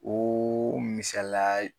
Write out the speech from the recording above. misala.